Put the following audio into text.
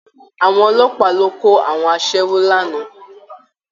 Àwọn ọlọ́pàá lọ kó àwọn aṣẹ́wó lánàá